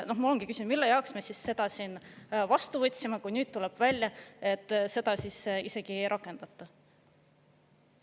Mul ongi küsimus, mille jaoks me selle siin vastu võtsime, kui nüüd tuleb välja, et seda isegi ei rakendata.